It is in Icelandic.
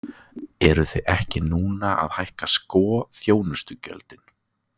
Eruð þið ekki núna að hækka sko þjónustugjöldin?